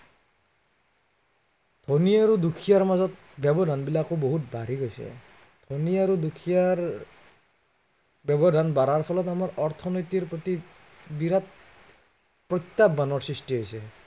ধনী আৰু দুখীয়াৰ মাজত ব্য়ৱধান বিলোকা বহুত বাঢ়ি গৈছে। ধনী আৰু দুখীয়াৰ ব্য়ৱধান বঢ়াৰ ফলত আমাৰ অৰ্থনীতিৰ প্ৰতি বিৰাত, প্ৰত্য়াহ্বানৰ সৃষ্টি হৈছে।